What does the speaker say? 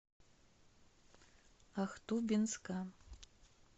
ахтубинска